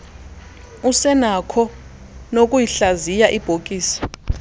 usenakho noyikuhlaziya ibhokisi